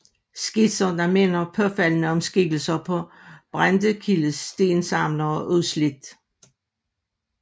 Skitser der minder påfaldende om skikkelserne på Brendekildes Stensamlere og Udslidt